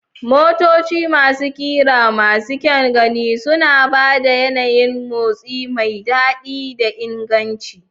Motoci masu ƙira masu kyan gani suna ba da yanayin motsi mai daɗi da inganci.